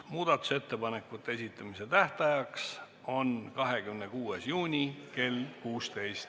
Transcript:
Muudatusettepanekute esitamise tähtaeg on 26. juuni kell 16.